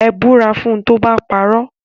Ẹ búra fún tó bá parọ́.